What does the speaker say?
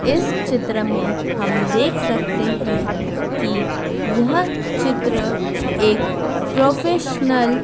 इस चित्र में हम देख सकते है कि यह चित्र एक प्रोफेशनल --